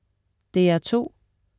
DR2: